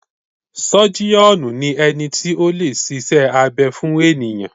Sọ́jíọ̀nù ni ẹni tí o lè ṣiṣẹ́ abẹ fún ènìyàn.